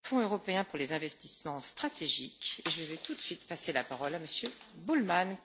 Frau Präsidentin, Herr Kommissar, werte Kolleginnen und Kollegen!